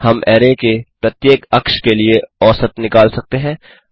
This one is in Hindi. हम अरै के प्रत्येक अक्ष के लिए औसत निकाल सकते हैं